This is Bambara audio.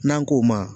N'an k'o ma